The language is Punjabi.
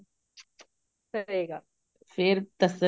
ਕਰੇਗਾ ਫ਼ੇਰ ਦੱਸਣ